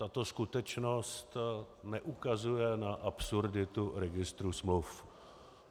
Tato skutečnost neukazuje na absurditu registru smluv.